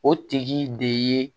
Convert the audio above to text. O tigi de ye